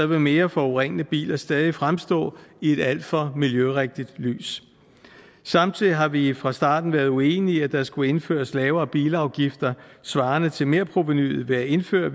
vil mere forurenende biler stadig fremstå i et alt for miljørigtig lys samtidig har vi fra starten været uenige i at der skulle indføres lavere bilafgifter svarende til merprovenuet ved at indføre